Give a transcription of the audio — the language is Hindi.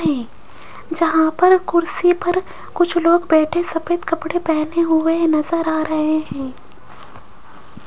है जहां पर कुर्सी पर कुछ लोग बैठे सफेद कपड़े पहने हुए नजर आ रहे हैं।